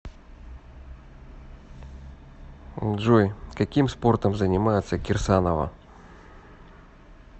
джой каким спортом занимается кирсанова